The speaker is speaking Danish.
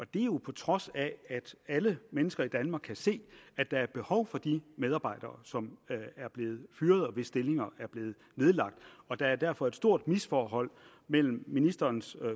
det er jo på trods af at alle mennesker i danmark kan se at der er behov for de medarbejdere som er blevet fyret og hvis stillinger er blevet nedlagt der er derfor et stort misforhold mellem ministerens